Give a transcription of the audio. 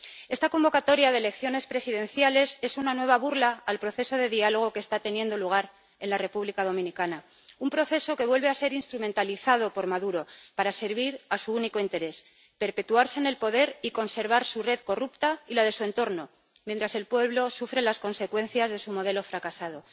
Esta convocatoria de elecciones presidenciales es una nueva burla al proceso de diálogo que está teniendo lugar en la República Dominicana, un proceso que vuelve a ser instrumentalizado por Maduro para servir a su único interés perpetuarse en el poder y conservar su red corrupta y la de su entorno mientras el pueblo sufre las consecuencias de su modelo fracasado.